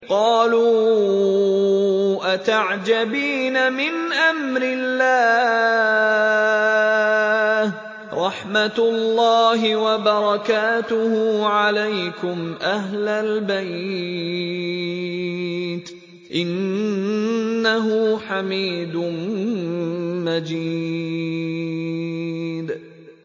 قَالُوا أَتَعْجَبِينَ مِنْ أَمْرِ اللَّهِ ۖ رَحْمَتُ اللَّهِ وَبَرَكَاتُهُ عَلَيْكُمْ أَهْلَ الْبَيْتِ ۚ إِنَّهُ حَمِيدٌ مَّجِيدٌ